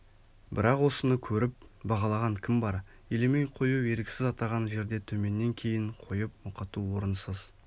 бірақ осыны көріп бағалаған кім бар елемей қою еріксіз атаған жерде төменнен кейін қойып мұқату орынсыз